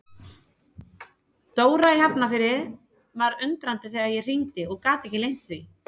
Dóra í Hafnarfirði var undrandi þegar ég hringdi og gat ekki leynt því.